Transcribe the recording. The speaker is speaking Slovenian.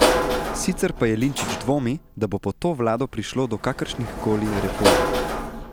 Sicer pa Jelinčič dvomi, da bo pod to vlado prišlo do kakršnih koli reform.